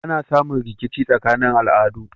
Ana samun rikici tsakanin al'adu